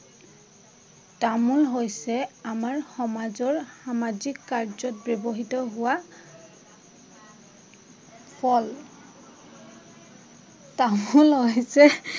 তামোল হৈছে আমাৰ সমাজৰ সামাজিক কাৰ্য্যত ব্যৱহৃত হোৱা ফল। তামোল হৈছে